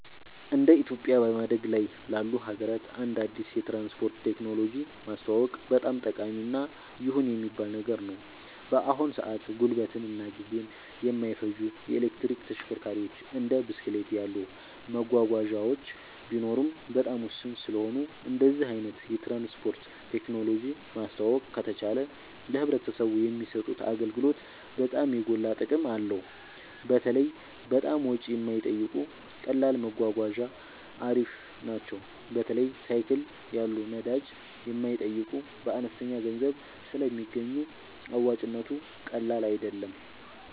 እንደ ኢትዮጵያ በማደግ ላይ ላሉ ሀገራት አንድ አዲስ የትራንስፖርት ቴክኖሎጂ ማስተዋወቅ በጣም ጠቃሚ እና ይሁን የሚባል ነገር ነው። በአሁን ሰአት ጉልበትን እና ጊዜን የማይፈጁ የኤሌክትሪክ ተሽከርካሪዎች እንደ ብስክሌት ያሉ መጓጓዣዎች ቢኖሩም በጣም ውስን ስለሆኑ እንደዚህ አይነት የትራንስፖርት ቴክኖሎጂ ማስተዋወቅ ከተቻለ ለማህበረሰቡ የሚሰጡት አገልግሎት በጣም የጎላ ጥቅም አለው። በተለይ በጣም ወጪ የማይጠይቁ ቀላል መጓጓዣ አሪፍ ናቸው። በተለይ ሳይክል ያሉ ነዳጅ የማይጠይቁ በአነስተኛ ገንዘብ ስለሚገኙ አዋጭነቱ ቀላል አይደለም